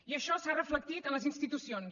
i això s’ha reflectit en les institucions